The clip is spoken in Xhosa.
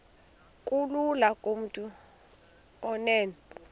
kulula kumntu onen